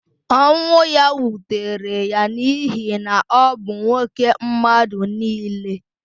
Ọnwụ ya wutere ya n’ihi na ọ bụ nwoke mmadụ nile.